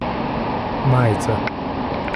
Majica.